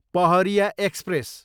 Pahariya express